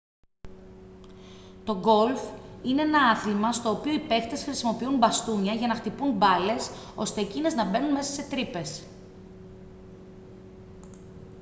το γκολφ είναι ένα άθλημα στο οποίο οι παίχτες χρησιμοποιούν μπαστούνια για να χτυπούν μπάλες ώστε εκείνες να μπαίνουν μέσα σε τρύπες